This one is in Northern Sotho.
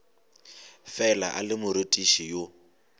fela a le morutiši yo